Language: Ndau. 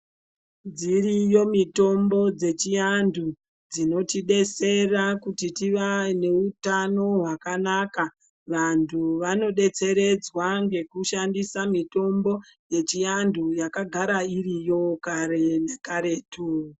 Dziriyo mitombo dzechiantu dzinotidetsera kuti tive neutano hwakanaka, vantu vanodetseredzwa ngekushandisa mitombo yechiantu yakagara iriyo kare ngekaretu.